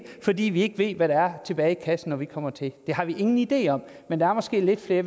fordi vi ikke ved hvad der er tilbage i kassen når vi kommer til det har vi ingen idé om men der er måske lidt mere